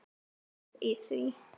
Góð í því!